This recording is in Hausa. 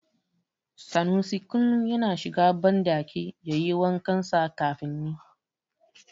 Sanusi kullum yana shiga banɗaki yayi wa kansa kafin ni.